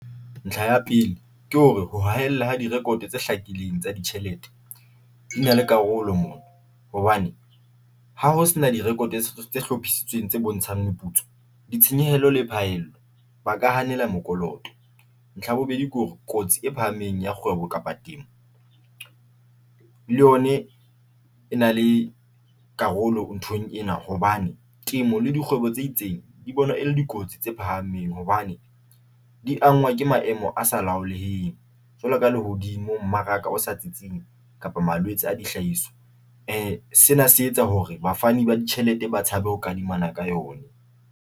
Ntlha ya pele ke hore ho haella ha di-record tse hlakileng tsa ditjhelete di na le karolo mona hobane ha ho sena di-record tse hlophisitsweng tse bontshang meputso, ditshenyehelo le phaello ba ka hanela mokoloto. Ntlha ya bobedi, ke hore kotsi e phahameng ya kapa temo le yona e na le karolo nthong ena hobane temo le dikgwebo tse itseng di bonwa e le dikotsi tse phahameng, hobane di ke maemo a sa jwalo ka lehodimo, mmaraka o sa tsitseng kapa malwetse a dihlahiswa. Sena se etsa hore bafani ba ditjhelete ba tshabe ho kadimana ka yona.